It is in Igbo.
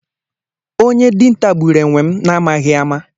Onye dinta gburu enwe m na amaghi ama.